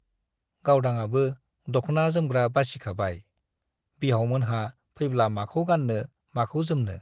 गावदांआबो दख्ना-जोमग्रा बासिखाबाय-बिहावमोनहा फैब्ला माखौ गान्नो, माखौ जोमनो।